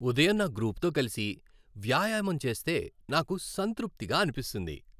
ఉదయం నా గ్రూపుతో కలిసి వ్యాయామం చేస్తే నాకు సంతృప్తిగా అనిపిస్తుంది.